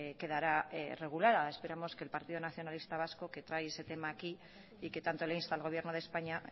quedará regulada esperamos que el partido nacionalista vasco que trae ese tema aquí y que tanto le insta al gobierno de españa